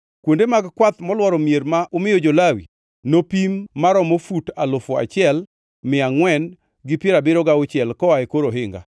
“Kuonde mag kwath molworo mier ma umiyo jo-Lawi nopim maromo fut alufu achiel mia angʼwen gi piero abiriyo gauchiel koa e kor ohinga.